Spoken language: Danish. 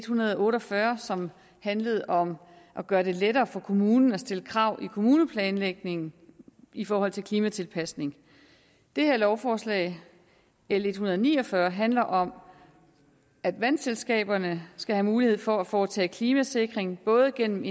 hundrede og otte og fyrre som handlede om at gøre det lettere for kommunen at stille krav i kommuneplanlægningen i forhold til klimatilpasning det her lovforslag l en hundrede og ni og fyrre handler om at vandselskaberne skal have mulighed for at foretage klimasikring både gennem